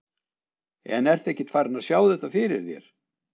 En ertu ekkert farinn að sjá þetta fyrir þér?